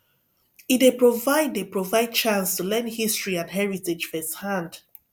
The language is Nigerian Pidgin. e dey provide dey provide chance to learn history and heritage firsthand